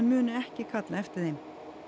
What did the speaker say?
muni ekki kalla eftir þeim